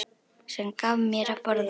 Sem gaf mér að borða.